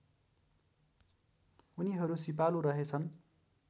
उनीहरू सिपालु रहेछन्